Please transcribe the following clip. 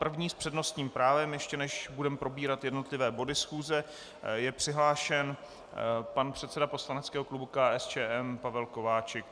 První s přednostním právem, ještě než budeme probírat jednotlivé body schůze, je přihlášen pan předseda poslaneckého klubu KSČM Pavel Kováčik.